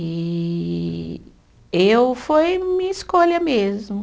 E eu foi minha escolha mesmo.